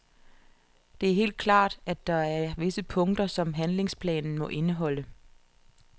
Det er helt klart, at der er visse punkter, som handlingsplanen må indeholde.